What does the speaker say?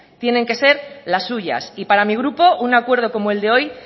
tienen que ser las suyas y para mi grupo un acuerdo como el de hoy